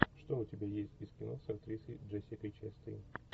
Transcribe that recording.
что у тебя есть из кино с актрисой джессикой честейн